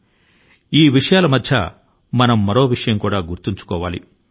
రుతుపవనాల తో వచ్చే వ్యాధుల నుండి మనం జాగ్రత్త గా ఉండాలి